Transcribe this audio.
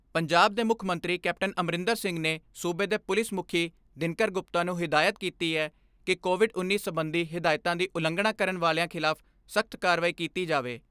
ਪੰਜਾਬ ਦੇ ਮੁੱਖ ਮੰਤਰੀ ਕੈਪਟਨ ਅਮਰਿੰਦਰ ਸਿੰਘ ਨੇ ਸੂਬੇ ਦੇ ਪੁਲਿਸ ਮੁੱਖੀ ਦਿਨਕਰ ਗੁਪਤਾ ਨੂੰ ਹਦਾਇਤ ਕੀਤੀ ਐ ਕਿ ਕੋਵਿਡ ਉੱਨੀ ਸਬੰਧੀ ਹਦਾਇਤਾਂ ਦੀ ਉਲੰਘਣਾ ਕਰਨ ਵਾਲਿਆਂ ਖਿਲਾਫ਼ ਸਖ਼ਤ ਕਾਰਵਾਈ ਕੀਤੀ ਜਾਵੇ।